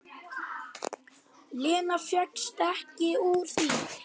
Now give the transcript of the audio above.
Lena fékkst ekki úr því.